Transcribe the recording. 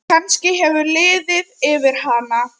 Kannski hefur liðið yfir hana?